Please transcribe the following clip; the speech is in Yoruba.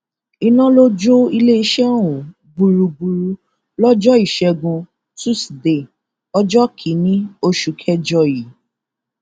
iná ló jó iléeṣẹ ọhún gbúgbúrú lọjọ ìṣẹgun túṣídéé ọjọ kìínní oṣù kẹjọ yìí